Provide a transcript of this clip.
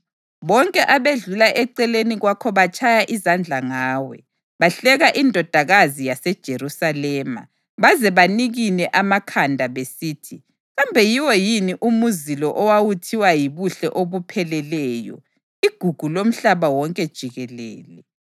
Bonke abedlula eceleni kwakho batshaya izandla ngawe; bahleka iNdodakazi yaseJerusalema baze banikine amakhanda besithi, “Kambe yiwo yini umuzi lo owawuthiwa yibuhle obupheleleyo, igugu lomhlaba wonke jikelele?”